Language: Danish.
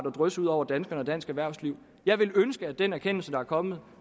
at drysse ud over danskerne og dansk erhvervsliv jeg ville ønske at den erkendelse der er kommet